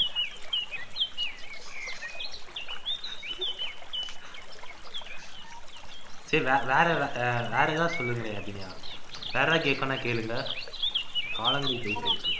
சரி வேற வேற ஏதாவது சொல்லுங்களேன் அபிநயா வேற ஏதாவது கேக்கணும்னா கேளுங்க கால நொடி போயிட்டு இருக்கு